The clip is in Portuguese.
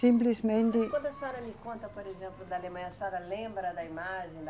Simplesmente. Mas quando a senhora me conta, por exemplo, da Alemanha, a senhora lembra da imagem da